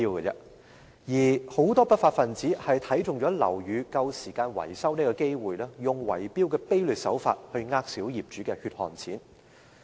有很多不法分子看上樓宇快將到期維修的機會，便以圍標的卑劣手法欺騙小業主的血汗錢。